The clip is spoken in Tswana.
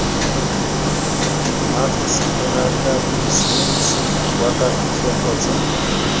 mmagiseterata bosiamisi jwa kagiso kgotsa